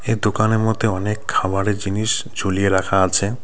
এ দোকানের মধ্যে অনেক খাবারের জিনিস ঝুলিয়ে রাখা আছে.